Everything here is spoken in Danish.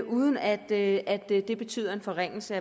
uden at det betyder en forringelse